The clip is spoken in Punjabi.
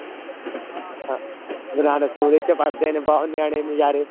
ਗੁਰੂ ਨਾਨਕ school ਵਿੱਚ ਪੜ੍ਹਦੇ ਨੇ ਬਹੁਤ ਨਿਆਣੇ ਨਜ਼ਾਰੇ